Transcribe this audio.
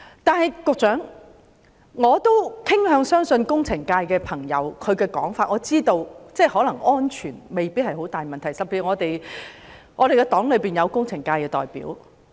但是，我傾向相信工程界朋友的說法，我知道安全未必會受到嚴重影響，尤其是我的黨友是工程界的代表。